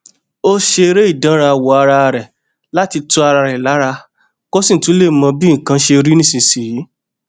ó ṣeré ìdánrawò ara rè láti tu ara rè lára kó sì tún lè mọ bí nǹkan ṣe rí nísinsìnyí